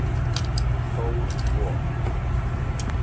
Stór got